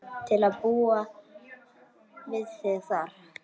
Til að búa við þig þar.